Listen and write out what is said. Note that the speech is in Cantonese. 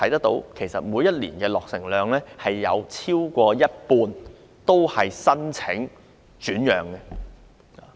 但是，每年落成的丁屋超過一半會申請轉讓。